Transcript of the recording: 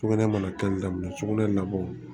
Sugunɛ mana kɛli daminɛ sugunɛ labɔ